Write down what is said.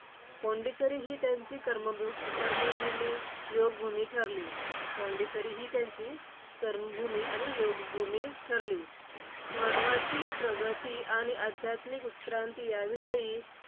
पोंडिचेरी ही त्यांची कर्मभू कर्मभूमी, योगभूमी ठरली. पोंडिचेरी ही त्यांची कर्मभूमी आणि योगभूमी ठरली. मानवाची प्रगती आणि आध्यात्मिक उत्क्रांती याविषयी